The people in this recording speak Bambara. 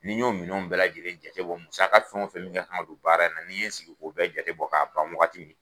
Ni y'o minɛnw bɛɛ lajɛlen ja bɔ musaka ka fɛn o fɛn min ka kan ka don baara in na ni n ye sigi k'o bɛɛ jate bɔ k'a ban wagati min